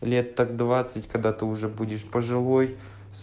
лет так двадцать когда ты уже будешь пожилой